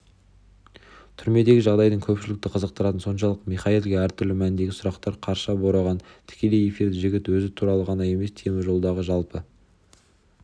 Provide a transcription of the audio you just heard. түрмедегі жағдайдың көпшілікті қызықтыратыны соншалық михаилға әртүрлі мәндегі сұрақтар қарша бораған тікелей эфирде жігіт өзі туралы ғана емес темір тордағы жалпы